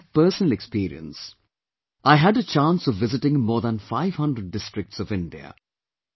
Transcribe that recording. This is my personal experience, I had a chance of visiting more than five hundred districts of India